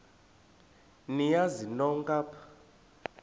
niyazi nonk apha